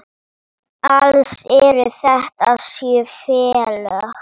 Alls eru þetta sjö félög.